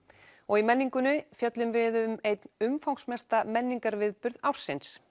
í menningunni fjöllum við um einn umfangsmesta menningarviðburð ársins